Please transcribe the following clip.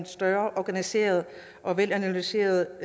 større organiseret og velanalyseret